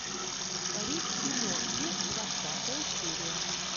рик и морти двадцатая серия